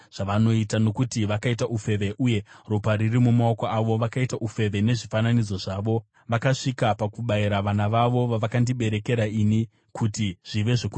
nokuti vakaita ufeve uye ropa riri mumaoko avo. Vakaita ufeve nezvifananidzo zvavo; vakasvika pakubayira vana vavo, vavakandiberekera ini, kuti zvive zvokudya zvavo.